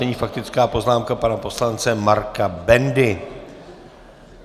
Nyní faktická poznámka pana poslance Marka Bendy.